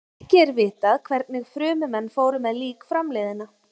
Ekki er vitað hvernig frummenn fóru með lík framliðinna.